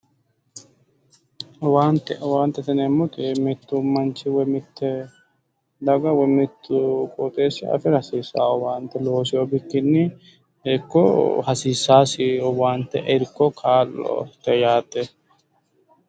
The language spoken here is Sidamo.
Owaante, owaantete yineemmoti mittu manchi woy mitte daga woy qooxeessi afi'ra hasiissanno owaante looseewo bikkinni hasiiseewosi owaante woy irko kaa'lo yaate.